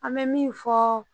An bɛ min fɔ